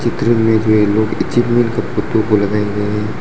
इधर इमेज में ये लोग फोटो को लगाए हुए हैं।